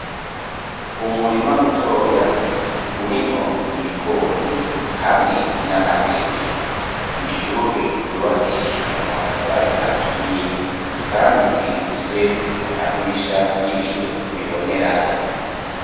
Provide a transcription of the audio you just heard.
Umurima mutoya urimwo ibigori hamwe n'amateke ishure ryubakishijwe amatafari aturiye kandi rifise amadirisha y'ibiyo bibonerana.